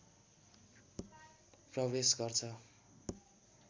प्रवेश गर्छ